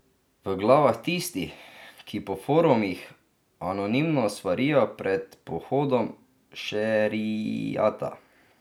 V glavah tistih, ki po forumih anonimno svarijo pred pohodom šeriata?